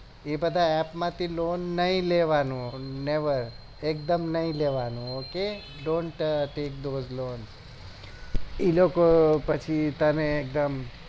એ બધા app મો હી loan નહી લેવાની never એક દમ નહી લેવાનું ok dont tack lone